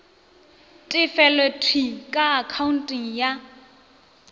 tefelo thwii ka akhaonteng ya